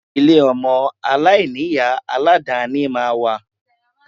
Ilé ọmọ aláìní-Ìyá alàdàáni máa wà